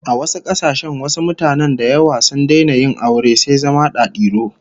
A wasu kasashen wasu mutanen da yawa sun daina yin aure sai zama dadiro